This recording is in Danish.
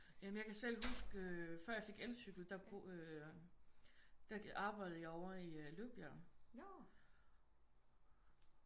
Ja men jeg kan selv huske øh før jeg fik elcykel der øh der arbejdede jeg over i Løvbjerg